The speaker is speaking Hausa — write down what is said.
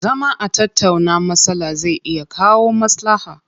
Zama a tattauna matsala zai iya kawo maslaha.